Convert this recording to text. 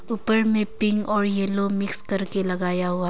ऊपर में पिंक और येलो मिक्स करके लगाया हुआ--